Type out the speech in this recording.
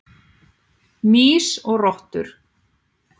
Mýs og rottur.